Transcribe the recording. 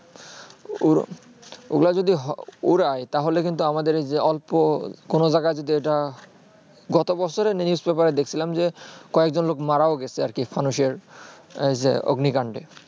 ঐগুলা যদি উড়ায়ে তা হলে তাহলে কিন্তু আমাদের ঐযে অল্প কোনো জায়গা যদি এইটা গত বছরে news paper এ দেখ দেখছিলাম যে কয়েকজন মারা ও গেছে এই যে ফানুসের অগ্নি কান্ডে